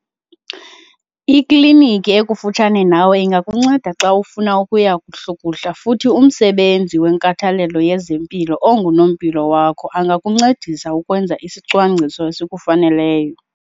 Ikliniki ekufutshane nawe ingakunceda xa ufuna ukuya kuhlukuhla futhi umsebenzi wenkathalelo yezempilo ongunompilo wakho angakuncedisa ukwenza isicwangciso esikufaneleyo